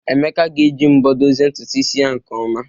Emeka ga-eji mbọ dozie ntutu isi ya nke ọma.